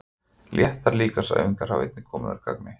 Léttar líkamsæfingar hafa einnig komið að gagni.